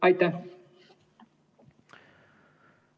Aitäh!